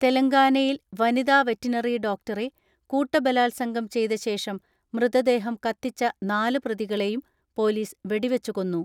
തെലങ്കാനയിൽ വനിതാ വെറ്റിനറി ഡോക്ടറെ കൂട്ട ബലാത്സംഗം ചെയ്തശേഷം മൃതദേഹം കത്തിച്ച നാല് പ്രതികളെയും പൊലീസ് വെടി വെച്ചുകൊന്നു.